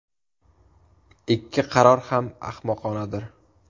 Ikki qaror ham ahmoqonadir.